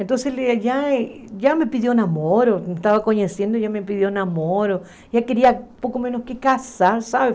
Então ele já me pediu namoro, eu estava conhecendo, já me pediu namoro, já queria um pouco menos que casar, sabe?